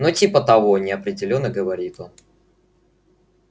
ну типа того неопределённо говорит он